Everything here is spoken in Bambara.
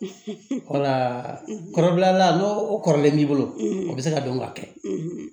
wala kɔrɔla n'o o kɔrɔlen b'i bolo a bɛ se ka dɔn ka kɛ